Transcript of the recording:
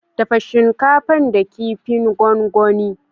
Dafa shinkafa da kifin gongoni.